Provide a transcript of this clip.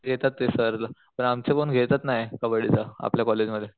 घेतात ते सर पण घेतच नाही कबड्डी च आपल्या कॉलेज मध्ये